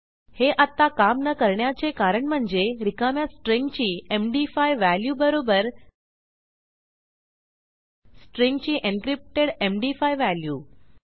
हे आत्ता काम न करण्याचे कारण म्हणजे रिकाम्या स्ट्रिंगची एमडी5 व्हॅल्यू बरोबर स्ट्रिंगची एन्क्रिप्टेड एमडी5 व्हॅल्यू